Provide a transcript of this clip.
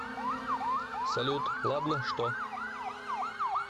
салют ладно что